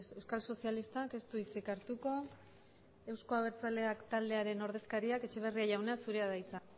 euskal sozialistak ez du hitzik hartuko euzko abertzaleak taldearen ordezkariak etxeberria jauna zurea da hitza